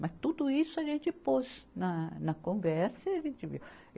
Mas tudo isso a gente pôs na, na conversa e a gente viu.